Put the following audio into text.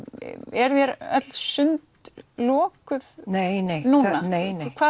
eru þér öll sund lokuð nei nei nei hvað